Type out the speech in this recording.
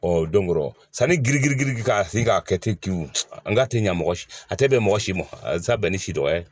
Ɔ donkɔrɔ sani giri girili ka sin k'a kɛ ten cew n k'a tɛ ɲɛ mɔgɔ si a tɛ bɛn mɔgɔ si mɔn a ye sa bɛn ni si dɔgɔya ye.